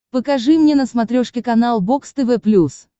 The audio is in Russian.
покажи мне на смотрешке канал бокс тв плюс